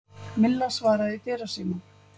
Milla svaraði í dyrasímann.